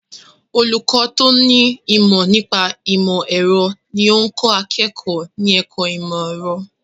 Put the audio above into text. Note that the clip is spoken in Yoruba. Olùkọ́ tó ní ìmọ̀ nípa ìmọ̀ ẹ̀rọ ní ó ń kọ́ akẹ́kọ̀ọ́ ní ẹ̀kọ́ ìmọ̀ ẹ̀rọ.